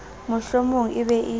mohlomong e be e le